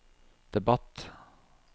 debatt